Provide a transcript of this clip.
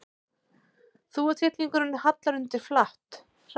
Þúfutittlingurinn hallar undir flatt, hratt.